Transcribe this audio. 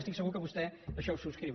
estic segur que vostè això ho subscriu